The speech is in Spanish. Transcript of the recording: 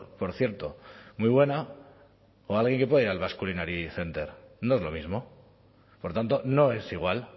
por cierto muy buena o alguien que pueda ir al basque culinary center no es lo mismo por tanto no es igual